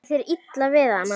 Er þér illa við hana?